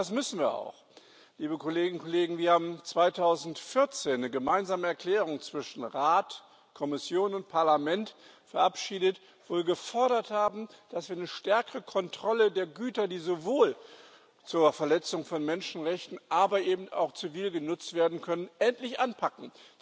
Ja, das müssen wir auch. Wir haben 2014 eine gemeinsame Erklärung zwischen Rat, Kommission und Parlament verabschiedet, wo wir gefordert haben, dass wir eine stärkere Kontrolle der Güter, die sowohl zur Verletzung von Menschenrechten, aber eben auch zivil genutzt werden können, endlich anpacken.